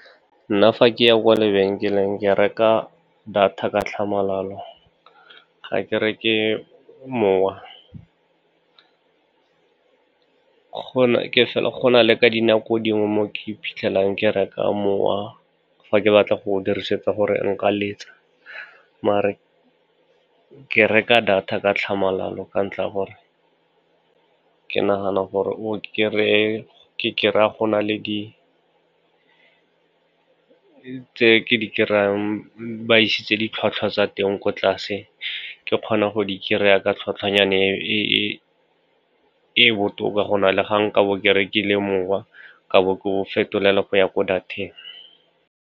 Nna fa ke ya kwa lebenkeleng, ke reka data ka tlhamalalo, ge ke reke mowa. Go na le ka dinako dingwe mo ke iphitlhelang ke reka mowa fa ke batla go dirisetsa gore nka letsa, maar ke reka data ka tlhamalalo ka ntlha ya gore ke nagana ke kry-a go na le di tse ke di kry-ang, ba isitse ditlhwatlhwa tsa teng ko tlase, ke kgona go di kry-a ka tlhotlhwanyana e e botoka, go na le ga nka bo ke rekile mowa ka bo ke o fetolela go ya ko data-eng.